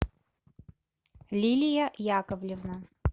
лилия яковлевна